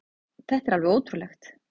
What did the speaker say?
Þetta er alveg ótrúlegt.